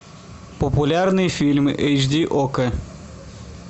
популярные фильмы эйч ди окко